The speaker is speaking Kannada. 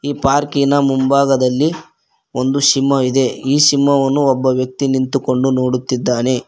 ಪಾರ್ಕಿನ ಮುಂಭಾಗದಲ್ಲಿ ಒಂದು ಸಿಂಹ ಇದೆ ಈ ಸಿಂಹವನ್ನು ಒಬ್ಬ ವ್ಯಕ್ತಿ ನಿಂತುಕೊಂಡು ನೋಡುತ್ತಿದ್ದಾನೆ.